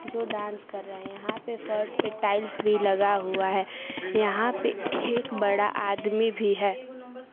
जो डांस कर रहे हैं यहां पे फर्श पे टाइल्स भी लगा हुआ है यहां पे एक बड़ा आदमी भी है।